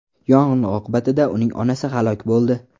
Yong‘in oqibatida uning onasi halok bo‘ldi.